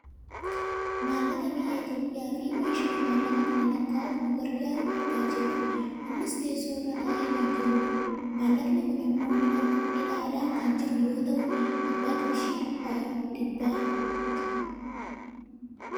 maallaqa biyya Itoopiyaa fi maashina maallaqa kana lakkaa'uuf nu gargaaru argaa jirra . innis teessoo irra taa'ee kan jirudha. maallaqni kun ammoo hidhaadhaan kan jiru yoo ta'u , abbaa qarshii dhibba dhibbaatti.